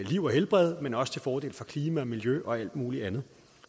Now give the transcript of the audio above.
liv og helbred men også til fordel for klima miljø og alt muligt andet